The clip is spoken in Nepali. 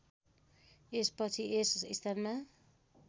यसपछि यस स्थानमा